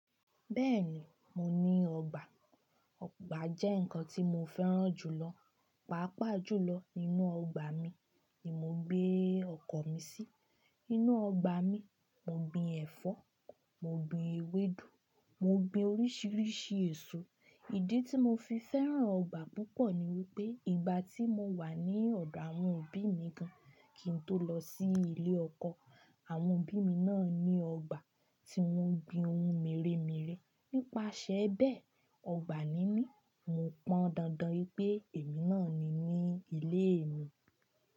Bẹ́ẹ̀ni, mo ní ọgbà. Ọgbà jẹ́ nǹkan tí mo fẹ́ràn jù lọ, pàápàá jùlọ. Inú ọgbà mi ni mo gbé ọkọ̀ mi sí. Inú ọgbà mi, mo gbin ẹ̀fọ́, mo gbin ewédú, mo gbin oríṣiríṣi èso. Ìdí tí mo fi fẹ́ràn ọgbà púpọ̀ ni wípé ìgbà tí mo wà ní ọ̀dọ̀ àwọn òbí mi gan-an, kí n tó lọ sí ilé ọkọ, àwọn òbí mi náà ní ọgbà tí wọ́n gbin ohun mèremère. Nípasẹ̀ bẹ́ẹ̀, ọgbà níní, mo pọn dandan wípé èmi náà ni ní ilé mi.